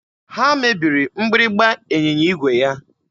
Ha mebiri mgbịrịgba ịnyịnya igwe ya.